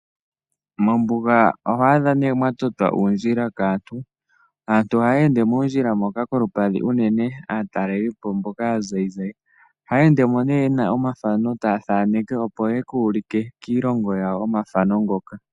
Mombuga oho adha nee mwa totwa uundjila kaantu. Aantu ohaya ende moondjila moka kolupadhi, unene aatalelipo mboka aazayizayi. Ohaya endemo ne yena omathano taya thaneke opo yeku ulike kiilongo yawo omathano ngoka.